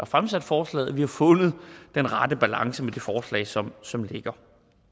fremsat forslaget at vi har fundet den rette balance med det forslag som som ligger